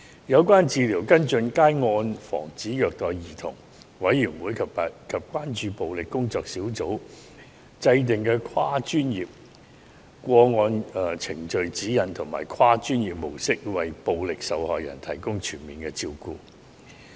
有關治療跟進皆按照防止虐待兒童委員會及關注暴力工作小組制訂的跨專業個案程序指引及跨專業模式，為暴力受害人提供全面的照顧。